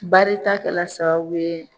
Baribta kɛla sababu ye,